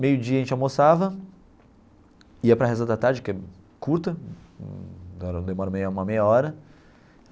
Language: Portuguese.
Meio dia a gente almoçava, ia para Reza da Tarde, que é curta, demora uma meia hora.